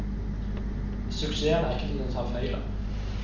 Suksessen er ikke til å ta feil av.